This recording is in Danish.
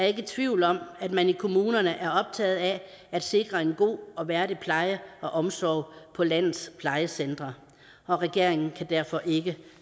ikke i tvivl om at man i kommunerne er optaget af at sikre en god og værdig pleje og omsorg på landets plejecentre og regeringen kan derfor ikke